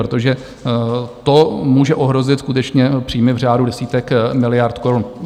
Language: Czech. Protože to může ohrozit skutečně příjmy v řádu desítek miliard korun.